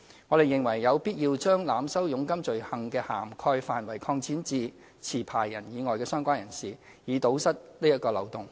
我們認為有必要將濫收佣金罪行的涵蓋範圍擴展至持牌人以外的相關人士，以堵塞這個漏洞。